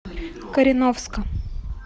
кореновска